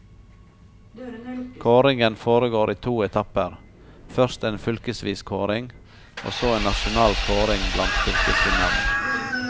Kåringen foregår i to etapper, først en fylkesvis kåring, og så en nasjonal kåring blant fylkesvinnerne.